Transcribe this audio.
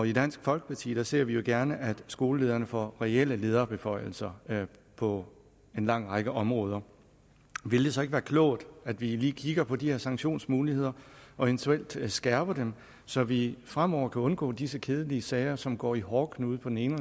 i dansk folkeparti ser vi gerne at skolelederne får reelle lederbeføjelser på en lang række områder ville det så ikke være klogt at vi lige kigger på de her sanktionsmuligheder og eventuelt skærper dem så vi fremover kan undgå disse kedelige sager som går i hårdknude på den ene